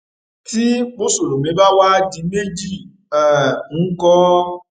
tí mùsùlùmí bá wàá di méjì um ńkọ